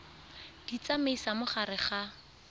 di tsamaisa mo gare ga